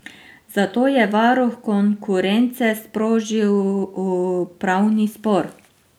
Zato je varuh konkurence sprožil upravni spor.